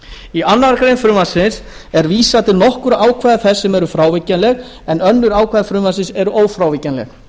í annarri grein frumvarpsins er vísað til nokkurra ákvæða þess sem eru frávíkjanleg en önnur ákvæði frumvarpsins eru ófrávíkjanleg